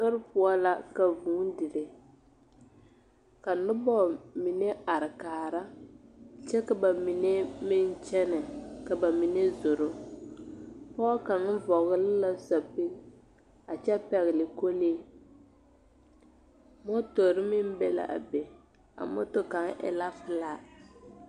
Sori poɔ la ka vūū dire ka noba mine are kaara kyɛ ka ba mine meŋ kyɛnɛ ka ba mine zoro pɔge kaŋ vɔgle la sapigi a kyɛ pɛgle kɔlee motori meŋ be l,a be a moto kaŋ e la pelaa.